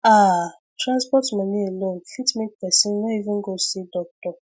ah transport money alone fit make person no even go see doctor